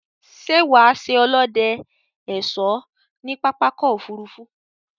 Sé wà á se olóde/ésó ní pápákò òfurufú